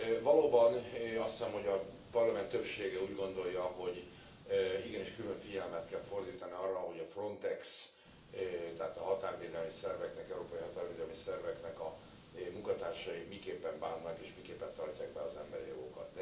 Valóban azt hiszem, hogy a Parlament többsége úgy gondolja, hogy igenis külön figyelmet kell fordítani arra, hogy a Frontex, tehát a határvédelmi szerveknek, az európai határvédelmi szerveknek a munkatársai miképpen bánnak, és miképpen tartják be az emberi jogokat.